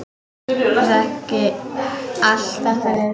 Ég þekki allt þetta lið.